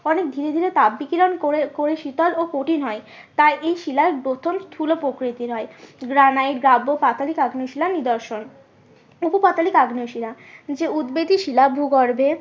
অনেক ধীরে ধীরে তাপ বিকিরণ করে করে শীতল ও কঠিন হয়। তাই এই শিলা প্রকৃতির হয় গ্রানাইট গাব্ব পাতালিক আগ্নেয় শিলার নিদর্শন। উপপাতালিক আগ্নেয় শিলা যে উদবেধী শিলা ভূগর্ভে